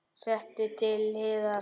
Sett til hliðar.